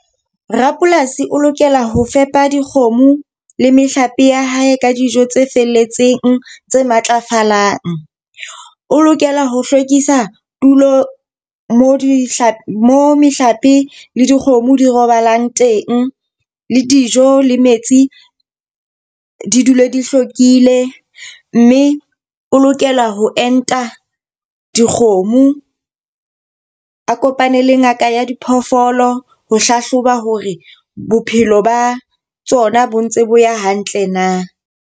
Rapolasi o lokela ho fepa dikgomo le mehlape ya hae ka dijo tse felletseng tse matlafalang. O lokela ho hlwekisa tulo mo dihlapi, mo mehlape le dikgomo di robalang teng le dijo le metsi di dule di hlwekile. Mme o lokela ho enta dikgomo. A kopane le ngaka ya diphoofolo ho hlahloba hore bophelo ba tsona bo ntse bo ya hantle na.